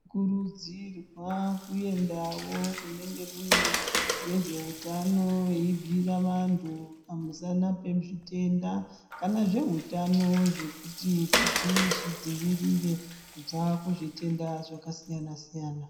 Kurudzirwa kuendawo kunenge kune vezveutano eibhiira vantu pamusana pezvitenda kana zveutano zvekuti zviti tizvidzivirire kubva kuzvitenda zvakasiyana siyana.